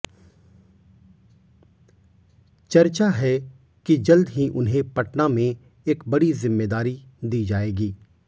चर्चा है कि जल्द ही उन्हें पटना में एक बड़ी जिम्मेदारी दी जाएगी